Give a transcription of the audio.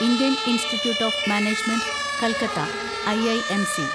Indian institute of management Calcutta (IIMC)